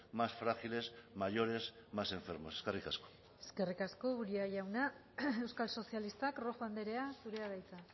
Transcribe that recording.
más frágiles mayores más enfermos eskerrik asko eskerrik asko uria jauna euskal sozialistak rojo andrea zurea da hitza